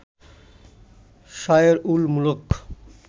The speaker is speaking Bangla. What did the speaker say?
শায়ের উল মুলক